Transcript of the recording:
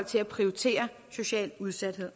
til at prioritere social udsathed